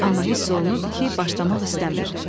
Amma hiss olunurdu ki, başlamaq istəmir.